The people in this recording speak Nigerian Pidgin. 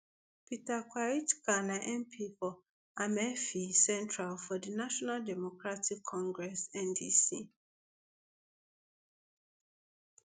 peter kwakyeackah na mp for amenfi central for di national democratic congress ndc